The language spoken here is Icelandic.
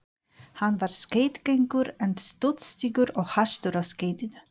Hann var skeiðgengur en stuttstígur og hastur á skeiðinu.